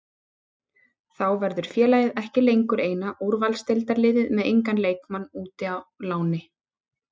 Þá verður félagið ekki lengur eina úrvalsdeildarliðið með engan leikmann úti á láni.